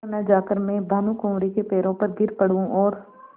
क्यों न जाकर मैं भानुकुँवरि के पैरों पर गिर पड़ूँ और